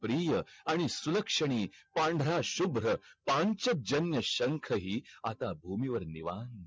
प्रिय आणि सुलक्षणी पांढरा शुभ्र पांचजन्य शंख हि आता भूमी वर निवांत